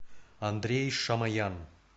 андрей шамоян